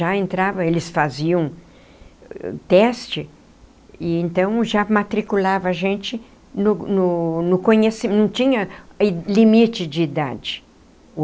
Já entrava, eles faziam teste, e então já matriculava a gente no no no conhecimento, não tinha limite de idade.